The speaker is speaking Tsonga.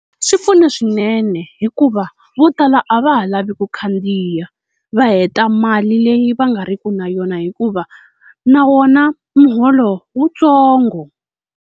Swi pfuna swinene hikuva vo tala a va ha lavi ku khandziya, va heta mali leyi va nga riki na yona hikuva na wona muholo wutsongo.